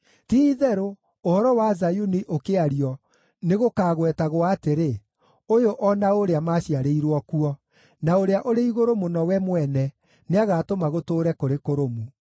Ti-itherũ, ũhoro wa Zayuni ũkĩario nĩgũkagwetagwo atĩrĩ, “Ũyũ o na ũũrĩa maaciarĩirwo kuo, na Ũrĩa-ũrĩ-Igũrũ-Mũno we mwene nĩagatũma gũtũũre kũrĩ kũrũmu.”